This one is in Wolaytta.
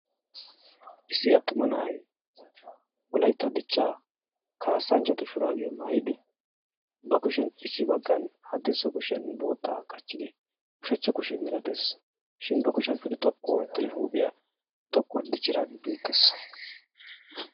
Issi attuma na'ay Wolaytta dichcha kaassanchchatu shurabiya maayidi ba kushiyaan issi baggan haddirssa kushiyan vootta qachchid haddirssa kushe mela dees. Shin ba kushiyaa xoqqu oottidi huuphiyaa xoqqu ootti dichchidaage bettees.